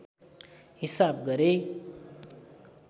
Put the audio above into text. हिसाब गरे